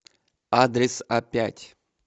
адрес апять